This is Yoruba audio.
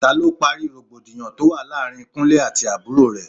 Ta ló parí rògbòdìyàn tó wà láàárín Kúnlẹ́ àti àbúrò rè?